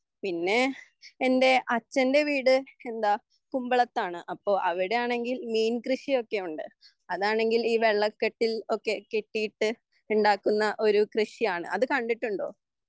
പിന്നെ എൻ്റെ അച്ഛൻ്റെ വീട് കുമ്പളത്താണ് അപ്പോൾ അവിടെയാണെങ്കിൽ മീൻകൃഷിയൊക്കെയുണ്ട് അതാണെങ്കിൽ ഈ വെള്ളക്കെട്ടിൽ ഒക്കെ കെട്ടിയിട്ടുണ്ടാക്കുന്ന ഒരു കൃഷിയാണ് അത് കണ്ടിട്ടുണ്ടോ